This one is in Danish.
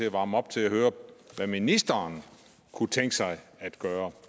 at varme op til at høre hvad ministeren kunne tænke sig at gøre